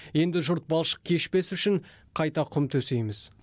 енді жұрт балшық кешпес үшін қайта құм төсейміз